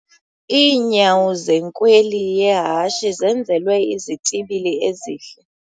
Iinyawo zenkweli yehashe zenzelwe izitibili ezihle.